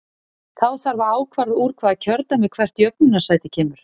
Þá þarf að ákvarða úr hvaða kjördæmi hvert jöfnunarsæti kemur.